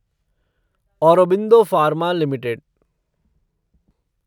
Aurobindo pharma limited